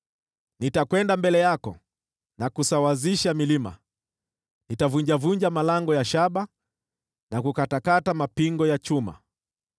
Nitakwenda mbele yako na kusawazisha milima; nitavunjavunja malango ya shaba na kukatakata mapingo ya chuma.